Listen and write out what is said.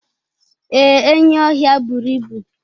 Ee, enyi ọhịa buru ibu.